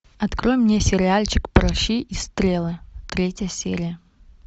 открой мне сериальчик пращи и стрелы третья серия